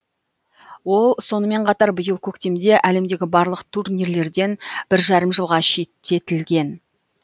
ол сонымен қатар биыл көктемде әлемдегі барлық турнирлерден бір жарым жылға шектетілген